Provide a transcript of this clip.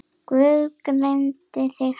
Guð geymi þig, Halli.